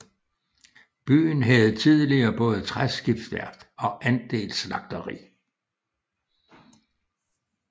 Byen havde tidligere både træskibsværft og et andelsslagteri